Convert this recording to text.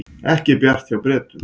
Ekki bjart hjá Bretum